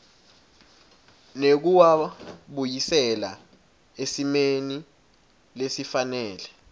nekuwabuyisela esimeni lesifanele